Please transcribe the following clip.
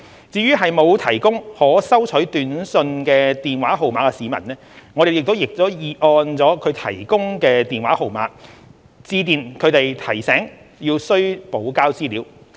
至於沒有提供可收取短訊的電話號碼的市民，我們亦已按其提供的電話號碼致電提醒他們需補交資料。